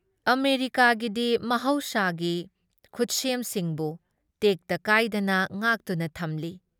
ꯑꯃꯦꯔꯤꯀꯥꯒꯤꯗꯤ ꯃꯍꯧꯁꯥꯒꯤ ꯈꯨꯠꯁꯦꯝꯁꯤꯡꯕꯨ ꯇꯦꯛꯇ ꯀꯥꯏꯗꯅ ꯉꯥꯛꯇꯨꯅ ꯊꯝꯂꯤ ꯫